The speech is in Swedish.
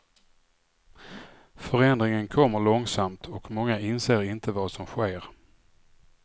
Förändringen kommer långsamt och många inser inte vad som sker.